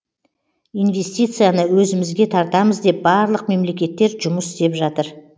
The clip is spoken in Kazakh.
инвестицияны өзімізге тартамыз деп барлық мемлекеттер жұмыс істеп жатыр